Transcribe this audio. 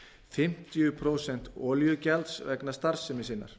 fimmtíu prósent olíugjalds vegna starfsemi sinnar